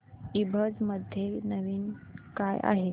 ईबझ मध्ये नवीन काय आहे